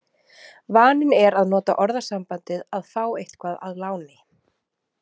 Vaninn er að nota orðasambandið að fá eitthvað að láni.